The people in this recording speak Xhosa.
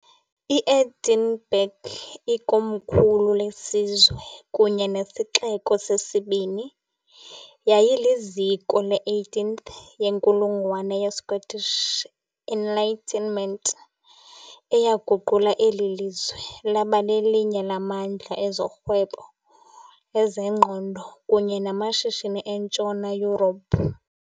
I-Edinburgh, ikomkhulu lesizwe kunye nesixeko sesibini, yayiliziko le -18th yenkulungwane ye- Scottish Enlightenment, eyaguqula eli lizwe laba lelinye lamandla ezorhwebo, ezengqondo kunye namashishini eNtshona Yurophu.